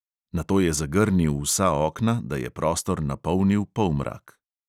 Nato je zagrnil vsa okna, da je prostor napolnil polmrak.